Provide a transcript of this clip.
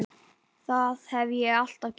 Það hef ég alltaf gert